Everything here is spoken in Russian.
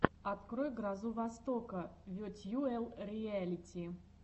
открой грозу востока ветьюэл риэлити